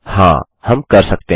हाँ हम कर सकते हैं